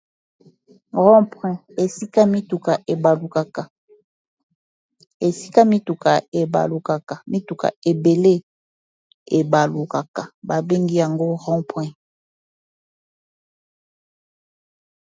Ronpoin, Esika mituka ebalukaka , esika mituka ebalukaka ,mituka ebele babengi yango rond-point.